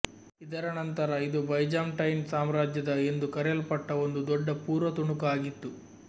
ಇದರ ನಂತರ ಇದು ಬೈಜಾಂಟೈನ್ ಸಾಮ್ರಾಜ್ಯದ ಎಂದು ಕರೆಯಲ್ಪಟ್ಟ ಒಂದು ದೊಡ್ಡ ಪೂರ್ವ ತುಣುಕು ಆಗಿತ್ತು